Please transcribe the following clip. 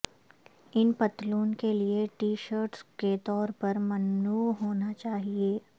ان پتلون کے لئے ٹی شرٹس کے طور پر ممنوع ہونا چاہئے